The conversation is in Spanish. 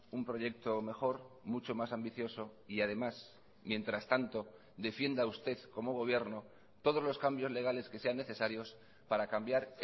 un proyecto mejor mucho más ambicioso y además mientras tanto defienda usted como gobierno todos los cambios legales que sean necesarios para cambiar